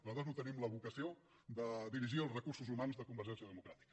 nosaltres no tenim la vocació de dirigir els recursos humans de convergència democràtica